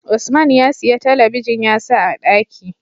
Usman ya siya talabijin ya sa a ɗaki